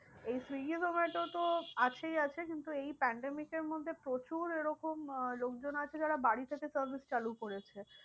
এই সুইগী জোমাটো তো আছেই আছে কিন্তু এই pandemic এর মধ্যে প্রচুর এরকম আহ লোকজন আছে যারা বাড়ি থেকে service চালু করেছে।